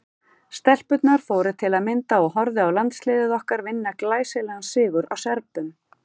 Stelpurnar fóru til að mynda og horfðu á landsliðið okkar vinna glæsilegan sigur á Serbum.